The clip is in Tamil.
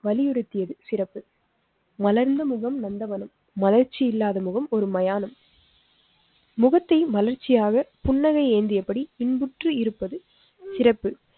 வலியுறுத்தியது சிறப்பு. மலர்ந்த முகம் நந்தவனம் மலர்ச்சி இல்லாத முகம் ஒரு மயானம். முகத்தை மலர்ச்சியாக புன்னகை ஏந்தியபடி இன்புற்று இருப்பது சிறப்பு.